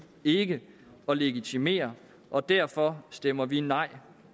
ikke at legitimere og derfor stemmer vi nej